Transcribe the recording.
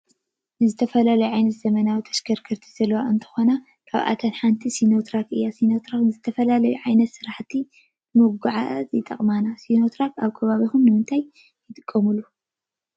ዝተፈላለዩ ዓይነት ዘመናዊ ተሽከርከርቲ ዘለዎ እንትኮና ካብአተን ሓደ ሲኖትራክ እዩ። ሲኖትራክ ንዝተፈላለዩ ዓይነታት ስራሕቲ ንሙጉዕዓዝ ይጠቅመና። ሲኖ ትራክ አብ ከባቢኩም ንምንታይ ትጥቀሙሉ?